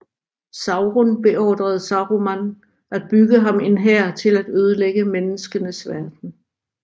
Sauron beordrede Saruman at bygge ham en hær til at ødelægge menneskenes verden